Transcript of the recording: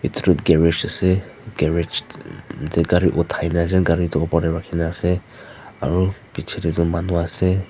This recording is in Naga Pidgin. edu toh garage ase garage tae gari uthai na ase gari tu opor tae rakhina ase aro pichae tae toh manuase.